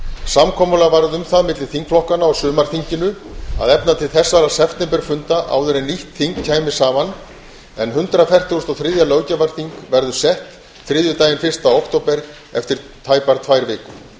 samkomulag varð um það milli þingflokkanna á sumarþinginu að efna til þessara september funda áður en nýtt þing kæmi saman en hundrað fertugasta og þriðja löggjafarþing verður sett þriðjudaginn fyrsta október eftir tæpar tvær vikur